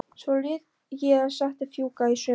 Svo lét ég settið fjúka í sumar.